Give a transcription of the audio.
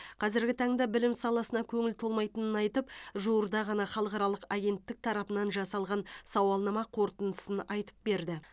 қазіргі таңда білім саласына көңілі толмайтынын айтып жуырда ғана халықаралық агенттік тарапынан жасалған сауалнама қорытындысын айтып берді